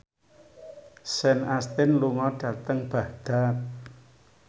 Sean Astin lunga dhateng Baghdad